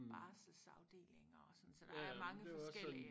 Barselsafdelinger og sådan så der er mange forskellige